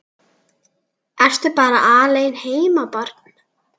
Ertu bara alein heima barn?